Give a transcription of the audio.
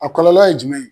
A kɔlɔlɔ ye jumɛn ye